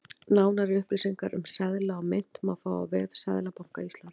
Nánari upplýsingar um seðla og mynt má fá á vef Seðlabanka Íslands.